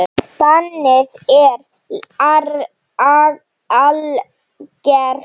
Bannið er algert.